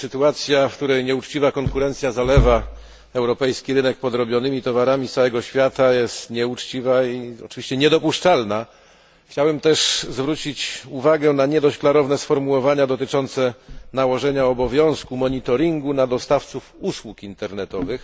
Sytuacja, w której nieuczciwa konkurencja zalewa europejski rynek podrobionymi towarami z całego świata, jest nieuczciwa i oczywiście niedopuszczalna. Chciałem też zwrócić uwagę na nie dość klarowne sformułowania dotyczące nałożenia obowiązku monitoringu na dostawców usług internetowych.